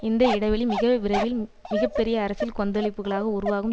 இந்த இடைவெளி மிக விரைவில் மிக பெரிய அரசியல் கொந்தளிப்புக்களாக உருவாகும்